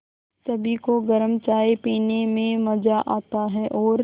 सभी को गरम चाय पीने में मज़ा आता है और